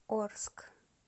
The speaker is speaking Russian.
орск